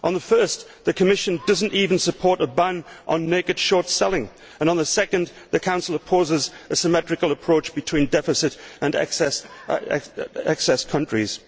On the first, the Commission does not even support a ban on naked short selling, and on the second the Council opposes a symmetrical approach between deficit and excess countries.